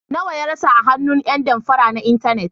Nawa ya rasa a hannun ƴan damfara na intanet.